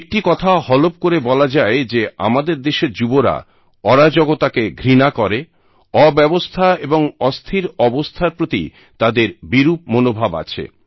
একটি কথা হলফ করে বলা যায় যে আমাদের দেশের যুবরা অরাজকতাকে ঘৃণা করে অব্যবস্থা ও অস্থির অবস্থার প্রতি তাদের বিরূপ মনোভাব আছে